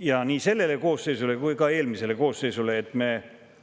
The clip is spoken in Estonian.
nii selle koosseisu kui ka eelmise koosseisu enesekriitika koht.